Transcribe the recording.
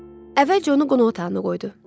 Əvvəlcə onu qonaq otağına qoydu.